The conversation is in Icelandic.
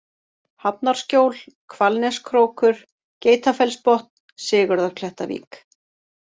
Hafnarskjól, Hvalneskrókur, Geitafellsbotn, Sigurðarklettavík